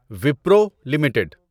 Wipro limited